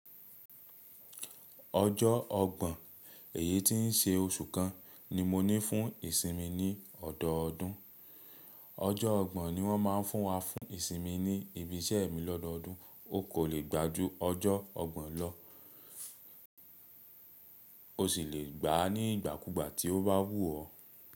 Ọjọ́ ọgbọ̀n èyí tí ń ṣe òṣù kan ni mo ní fún ìsinmi ni ọ̀dọ̀ọdún. Ọjọ́ ọgbọ̀n ni wọ́n má ń fún wa fún ìsinmi ní ibi iṣẹ́ mi lọ́dọ̀ọdún. O kò le gbà ju ọjọ́ ọgbọ̀n lọ. O sì lè gbá ní ìgbàkúgbà tí ó bá wú ọ.